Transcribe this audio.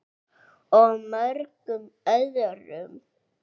Og mörgum öðrum.